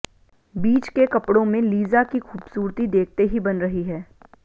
बीच के कपडों में लीज़ा की खुबसूरती देखते ही बन रही है